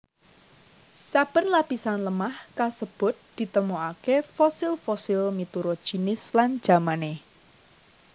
Saben lapisan lemah kasebut ditemokaké fosil fosil miturut jinis lan jamané